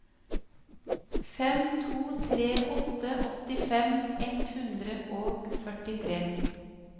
fem to tre åtte åttifem ett hundre og førtitre